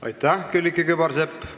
Aitäh, Külliki Kübarsepp!